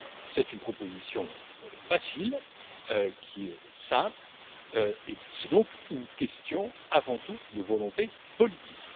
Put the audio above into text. C'est une proposition facile, qui est simple, et c'est donc une question avant tout de volonté politique.